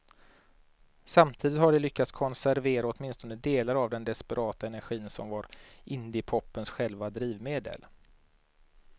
Samtidigt har de lyckats konservera åtminstone delar av den desperata energi som var indiepopens själva drivmedel.